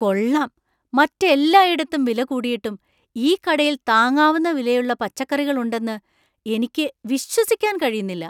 കൊള്ളാം, മറ്റെല്ലായിടത്തും വിലകൂടിയിട്ടും ഈ കടയിൽ താങ്ങാവുന്ന വിലയുള്ള പച്ചക്കറികളുണ്ടെന്ന് എനിക്ക് വിശ്വസിക്കാൻ കഴിയുന്നില്ല!